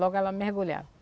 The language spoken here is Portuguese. Logo ela mergulhava.